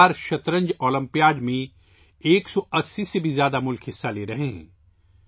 اس بار شطرنج اولمپیاڈ میں 180 سے زائد ممالک حصہ لے رہے ہیں